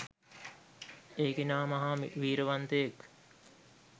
ඒ කෙනා මහා වීරියවන්තයෙක්.